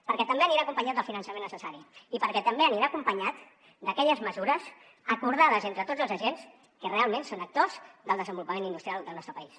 perquè també anirà acompanyat del finançament necessari i perquè també anirà acompanyat d’aquelles mesures acordades entre tots els agents que realment són actors del desenvolupament industrial del nostre país